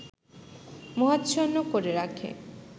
মোহাচ্ছন্ন করে রাখে